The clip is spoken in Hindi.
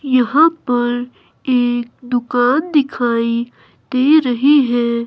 यहां पर एक दुकान दिखाई दे रही हैं।